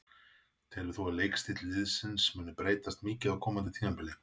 Telur þú að leikstíll liðsins muni breytast mikið á komandi tímabili?